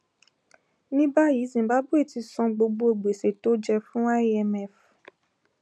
ní báyìí zimbabwe ti san gbogbo gbèsè tó jẹ fún imf